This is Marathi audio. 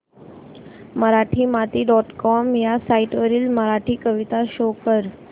मराठीमाती डॉट कॉम ह्या साइट वरील मराठी कविता शो कर